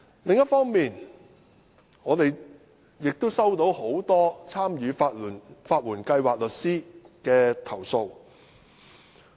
另一方面，我們收到很多參與法援計劃的律師的投訴。